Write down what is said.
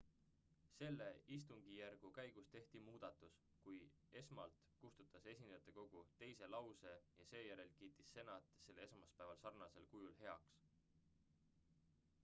selle istungijärgu käigus tehti muudatus kui esmalt kustutas esindajatekogu teise lause ja seejärel kiitis senat selle esmaspäeval sarnasel kujul heaks